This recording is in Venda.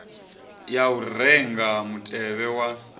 ya u renga mutevhe wa